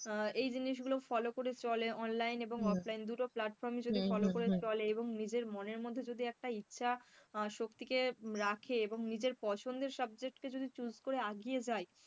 এই জিনিসগুলো follow করে চলে online এবং offline দুটো platform যদি follow করে চলে এবং নিজের মনে মধ্যে যদি একটা ইচ্ছা শক্তিকে রাখে এবং নিজের পছন্দের subject কে choose করে আগিয়ে যাই,